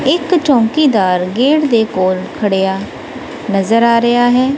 ਇੱਕ ਚੌਂਕੀਦਾਰ ਗੇਟ ਦੇ ਕੋਲ ਖੜੇਆ ਨਜ਼ਰ ਆ ਰਿਹਾ ਹੈ।